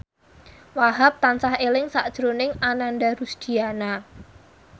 Wahhab tansah eling sakjroning Ananda Rusdiana